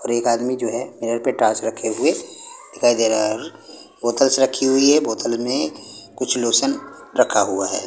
और एक आदमी जो है मिरर पे टॉर्च रखे हुए दिखाई दे रहा है और बोतल्स रखी हुई है बोतल में कुछ लोशन रखा हुआ है।